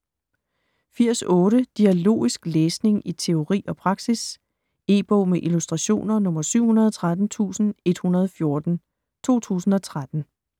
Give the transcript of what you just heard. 80.8 Dialogisk læsning i teori og praksis E-bog med illustrationer 713114 2013.